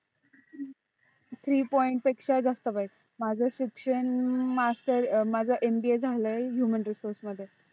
three point पेक्षा जास्त पाहिजे. माझ शिक्षण masterMBA झालय Human resources मध्ये